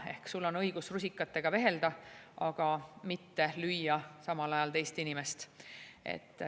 Ehk sul on õigus rusikatega vehelda, aga mitte lüüa teist inimest.